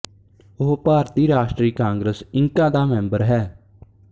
ਉਹ ਭਾਰਤੀ ਰਾਸ਼ਟਰੀ ਕਾਂਗਰਸ ਇੰਕਾ ਦਾ ਮੈਂਬਰ ਹੈ